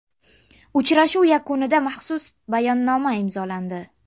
Uchrashuv yakunida maxsus bayonnoma imzolandi.